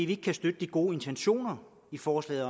vi ikke kan støtte de gode intentioner i forslaget